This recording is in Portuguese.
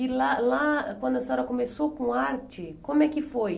E lá lá, quando a senhora começou com arte, como é que foi?